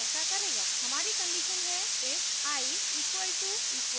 हमारी कंडीशन है if i == 20